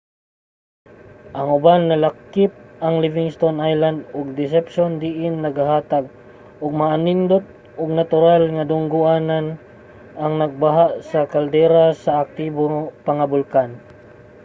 ang uban nalakip ang livingston island ug deception diin nagahatag og maanindot ug natural nga dunggo-anan ang nagbaha nga caldera sa aktibo pa nga bulkan